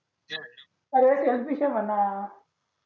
अरे तेच विषय ये म्हणा